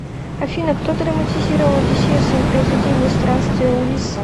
афина кто драматизировал одиссею в своем произведении странствия улисса